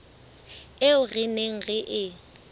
eo re neng re e